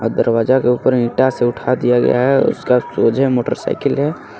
आ दरवाजा के ऊपर ईटा से उठा दिया गया है उसका मोटरसाइकिल है.